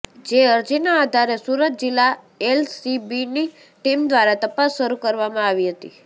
જે અરજીના આધારે સુરત જિલ્લા એલસીબીની ટીમ દ્વારા તપાસ શરૂ કરવામાં આવી હતી